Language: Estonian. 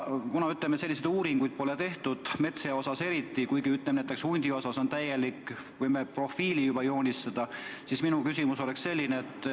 Kuna selliseid uuringuid pole tehtud – metssea kohta eriti, kuigi näiteks hundi kohta võime juba täieliku profiili joonistada –, siis minu küsimus oleks selline.